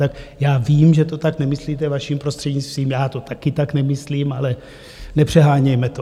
Tak já vím, že to tak nemyslíte, vaším prostřednictvím, já to také tak nemyslím, ale nepřehánějme to.